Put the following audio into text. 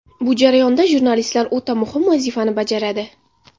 Bu jarayonda jurnalistlar o‘ta muhim vazifani bajaradi.